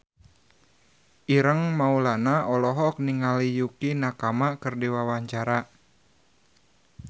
Ireng Maulana olohok ningali Yukie Nakama keur diwawancara